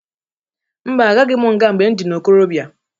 Mba! Alaghị m nga mgbe m dị n'ikorobịa.